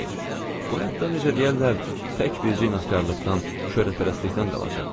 Bu həyatdan necə deyərlər, tək bircə inadkarlıqdan, şöhrətpərəstlikdən qalacaq.